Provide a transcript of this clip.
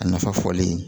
A nafa fɔlen